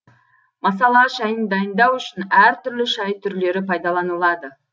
масала шайын дайындау үшін әр түрлі шай түрлері пайдаланылады